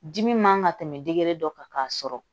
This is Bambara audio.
Dimi man ka tɛmɛ dege dɔ kan k'a sɔrɔ